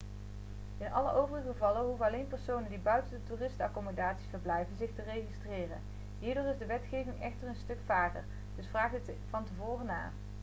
in alle overige gevallen hoeven alleen personen die buiten de toeristenaccommodaties verblijven zich te registreren hierdoor is de wetgeving echter een stuk vager dus vraag dit van tevoren na